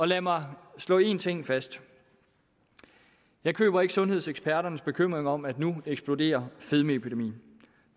lad mig slå én ting fast jeg køber ikke sundhedseksperternes bekymringer om at nu eksploderer fedmeepidemien